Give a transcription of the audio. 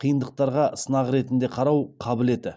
қиындықтарға сынақ ретінде қарау қабілеті